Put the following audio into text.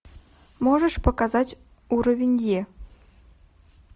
можешь показать уровень е